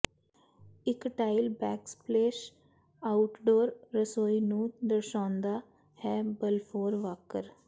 ਇੱਕ tile backsplash outdoor ਰਸੋਈ ਨੂੰ ਦਰਸਾਉਂਦਾ ਹੈ ਬਾਲਫੋਰ ਵਾਕਰ